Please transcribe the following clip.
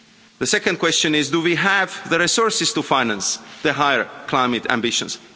The second question is do we have the resources to finance the higher climate ambitions?